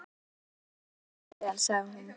Takk fyrir að taka þessu svona vel, sagði hún.